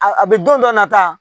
A a bɛ don dɔ nata